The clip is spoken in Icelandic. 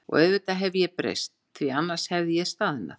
Og auðvitað hef ég breyst, því að annars hefði ég staðnað.